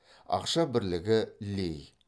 ақша бірлігі лей